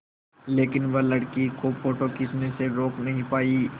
लेकिन वह लड़की को फ़ोटो खींचने से रोक नहीं पाई